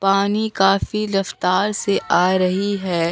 पानी काफी रफ्तार से आ रही है।